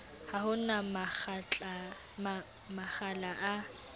ha ho na makgala a